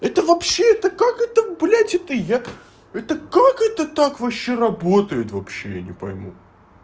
это вообще-то как это блять это я это как это так вообще работает вообще я не пойму